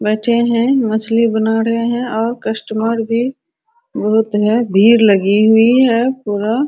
बैठे हैं मछली बना रहें हैं और कस्टमर भी बहुत है भीड़ लगी हुई है पूरा।